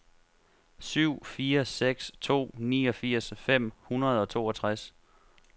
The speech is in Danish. syv fire seks to niogfirs fem hundrede og toogtres